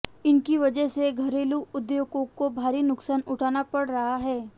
इनकी वजह से घरेलू उद्योगों को भारी नुकसान उठाना पड़ रहा है